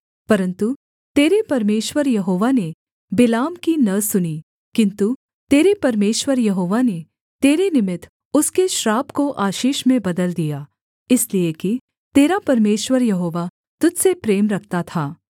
परन्तु तेरे परमेश्वर यहोवा ने बिलाम की न सुनी किन्तु तेरे परमेश्वर यहोवा ने तेरे निमित्त उसके श्राप को आशीष में बदल दिया इसलिए कि तेरा परमेश्वर यहोवा तुझ से प्रेम रखता था